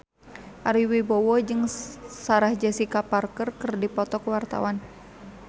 Ari Wibowo jeung Sarah Jessica Parker keur dipoto ku wartawan